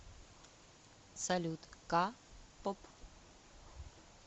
салют ка поп